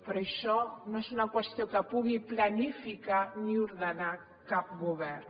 però això no és una qüestió que pugui planificar ni ordenar cap govern